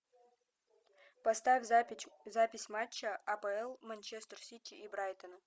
поставь запись матча апл манчестер сити и брайтона